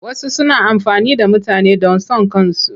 Wasu suna amfani da mutane don son kansu.